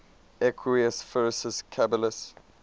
equus ferus caballus